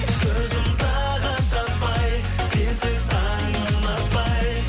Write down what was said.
көзім тағыт таппай сенсіз таңым атпай